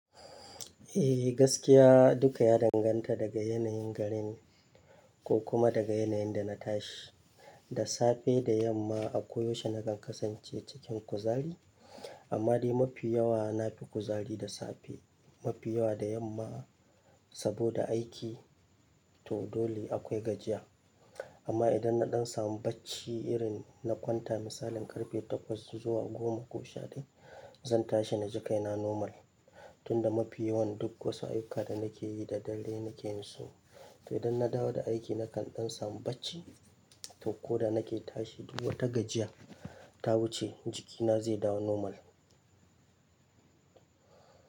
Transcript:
Eh, gaskiya duka ya danganta daga yanayin garin ko kuma daga yanayin da na tashi, da safe da yamma, a koyaushe na kan kasance cikin kuzari amma dai mafi yawa na fi kuzari da safe, mafi yawa da yamma saboda aiki, to dole akwai gajiya. Amma idan na ɗan samu bacci irin na kwanta misalin karfe takwas zuwa goma ko shaɗai, zan tashi na ji kaina normal tunda mafi yawan duk wasu ayyuka da nake yi da dare nake yin su. To idan na dawo da aiki na kan ɗan samu bacci, to ko da nake tashi duk wata gajiya ta wuce jikina zai dawo normal.